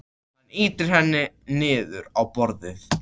Hann ýtir henni niður á borðið.